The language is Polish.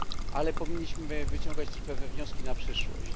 Ale powinniśmy wyciągać też pewne wnioski na przyszłość.